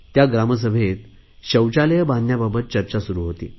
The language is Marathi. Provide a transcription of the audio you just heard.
या ग्रामसभेत शौचालये बांधण्याबाबत चर्चा सुरु होती